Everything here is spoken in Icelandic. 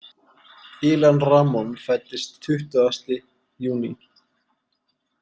Ilan Ramon fæddist tuttugasti júní.